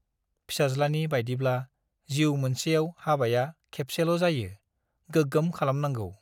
फिसाज्लानि बाइदिब्ला - जिउ मोनसेआव हाबाया खेबसेल' जायो , गोगोम खालामनांगौ ।